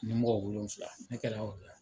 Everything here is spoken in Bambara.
Ni mɔgɔ wolonfila ne kɛra yɔrɔ la.